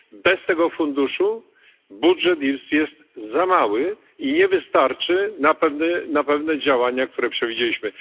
Bez tego funduszu budżet jest za mały i nie wystarczy na pewne działania, które przewidzieliśmy.